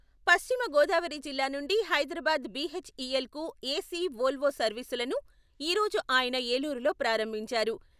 పశ్చిమ గోదావరి జిల్లా నుండి Hyderabad B H E L కు ఏసీ ఓల్వో సర్వీసులను ఈరోజు ఆయన ఏలూరులో ప్రారంభించారు.